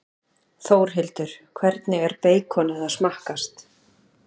Þórhildur: Hvernig er beikonið að smakkast?